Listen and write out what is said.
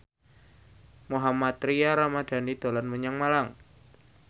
Mohammad Tria Ramadhani dolan menyang Malang